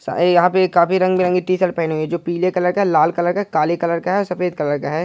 सा ए यहां पे काफी रंग बिरंगी टी-शर्ट पहनी हुए है जो पीले कलर का लाल कलर काले कलर और सफेद कलर का है।